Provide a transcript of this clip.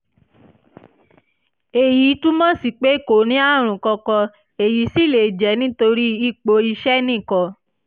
èyí túmọ̀ sí pé kò ní àrùn kankan èyí sì lè jẹ́ nítorí ipò iṣẹ́ nìkan